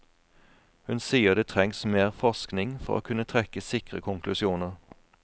Hun sier det trengs mer forskning for å kunne trekke sikre konklusjoner.